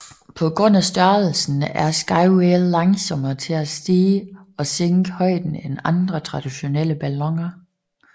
På grund af størrelsen er The Skywhale langsommere til at stige og sænke højden end andre traditionelle balloner